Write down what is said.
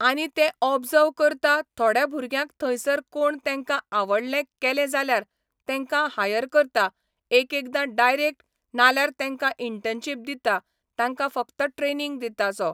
आनी ते ओबजव करता थोड्यां भुरग्यांक थंयसर कोण तेंकां आवडले केले जाल्यार तेंकां हायर करता एकएकदा डायरेक्ट नाल्यार तेंकां इंटनशीप दिता तांकां फक्त ट्रेनींग दिता सो